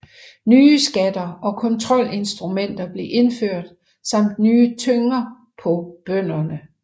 Nye skatter og kontrolinstrumenter blev indført samt nye tynger på bønderne